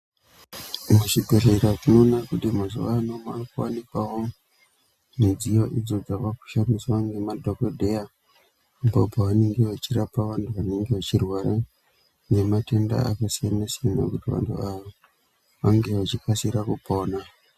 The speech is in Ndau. Muzvibhedhlera tinoona kuti mazuva ano makuvanikwavo midziyo idzo dzavakushandiswa ngemadhogodheya. Apo pavanenge vachirapa vantu vanenge vachirwara ngematenda akasiyana-siyana, kuti vantu ava vange vachikasira kupona.